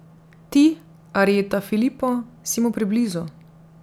Ti, Arjeta Filipo, si mu preblizu.